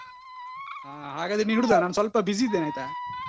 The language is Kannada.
ಹಾಗಾದ್ರೆ ಇಡುದಾ ನಾನು ಸ್ವಲ್ಪ busy ಇದ್ದೇನೆ, ಆಯ್ತಾ?